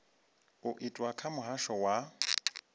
u itwa kha muhasho wa